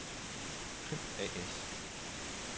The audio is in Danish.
Crimp A/S